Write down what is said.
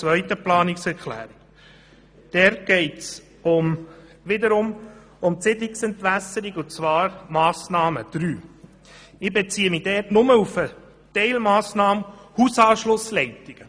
Zur Planungserklärung 5, Siedlungsentwässerung Massnahme SE-3: Hier beziehe ich mich nur auf die Teilmassnahme Hausanschlussleitungen.